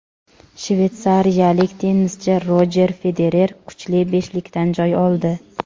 Shveysariyalik tennischi Rojer Federer kuchli beshlikdan joy oldi.